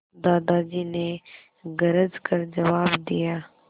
दादाजी ने गरज कर जवाब दिया